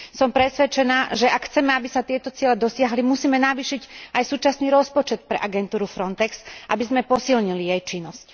Som presvedčená, že ak chceme, aby sa tieto ciele dosiahli, musíme navýšiť aj súčasný rozpočet pre agentúru FRONTEX, aby sme posilnili jej činnosť.